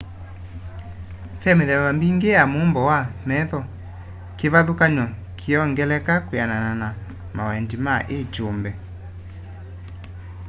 ve mithemba mingi ya mumbo wa metho kivathukany'o kiyongeleka kwianana na mawendi ma i kyumbe